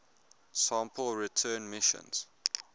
sample return missions